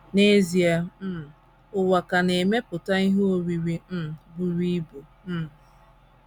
N’ezie, um ụwa ka na - emepụta ihe oriri um buru ibu. um